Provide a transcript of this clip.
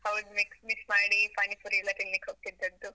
ಹೌದು, miss, miss ಮಾಡಿ ಪಾನಿಪುರಿ ಎಲ್ಲ ತಿನ್ಲಿಕ್ಕೆ ಹೋಗ್ತಿದ್ದದ್ದು.